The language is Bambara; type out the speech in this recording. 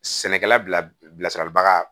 Sɛnɛkɛla bilasiraliba